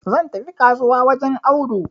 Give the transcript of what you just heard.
zan tafi kasuwa wajen Audu